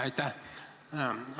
Aitäh!